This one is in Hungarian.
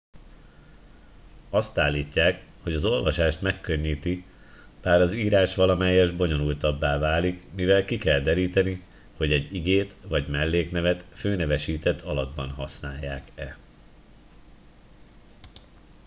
azt állítják hogy az olvasást megkönnyíti bár az írás valamelyest bonyolultabbá válik mivel ki kell deríteni hogy egy igét vagy melléknevet főnevesített alakban használják e